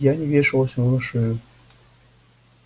я не вешалась ему на шею